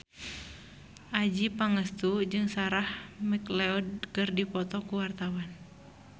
Adjie Pangestu jeung Sarah McLeod keur dipoto ku wartawan